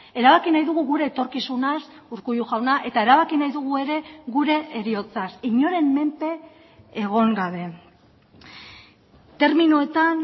erabaki nahi dugu gure etorkizunaz urkullu jauna eta erabaki nahi dugu ere gure heriotzaz inoren menpe egon gabe terminoetan